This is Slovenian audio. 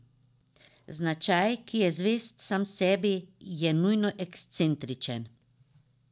Značaj, ki je zvest sam sebi, je nujno ekscentričen.